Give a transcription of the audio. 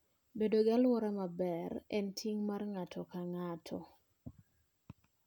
Bedo gi alwora maber en ting' mar ng'ato ka ng'ato.